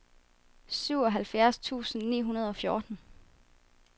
syvoghalvfjerds tusind ni hundrede og fjorten